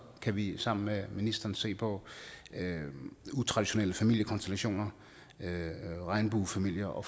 kan vi sammen med ministeren se på utraditionelle familiekonstellationer regnbuefamilier og